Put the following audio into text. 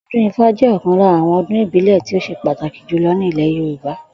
O̩dún Ifá jé̩ ò̩kan lára àwo̩n odún ìbílè̩ tí ó s̩e pàtàkì jùlo̩ ní ilè̩ Yorùbá